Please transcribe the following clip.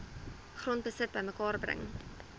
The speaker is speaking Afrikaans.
grondbesit bymekaar bring